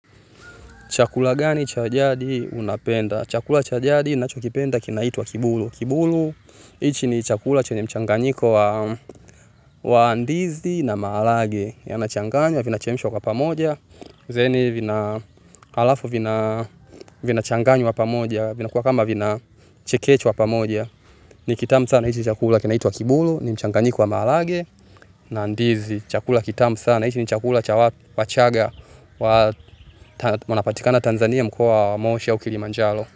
Chakula gani cha jadi unapenda? Chakula cha jadi nachokipenda kinaitwa kiboro kiboro, hiki ni chakula chenye mchanganyiko wa ndizi na maharagwe. Yana changanyo, vina chemishwa kwa pamoja. Then hivi alafu vinachanganywa pamoja. Vinakua kama vinachekeshwa pamoja. Ni kitamu sana, hiki chakula kinaitwa wa kiboro, ni mchangani kwa maharagwe, na ndizi, chakula kitamu sana, hiki ni chakula wachanga wanapatikana Tanzania mkoa wa moshia kilimanjaro.